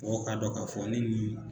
Mɔgɔw k'a dɔ k'a fɔ ne ni.